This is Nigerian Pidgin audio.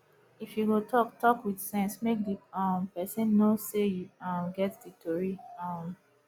if yu go tok tok wit sense mek di um pesin no sey yu um get di tori um